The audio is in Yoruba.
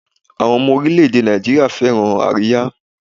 Àwọn ọmọ oríléèdè Nàìjíríà fẹ́ràn àríyá